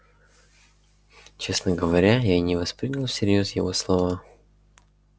честно говоря я не воспринял всерьёз его слова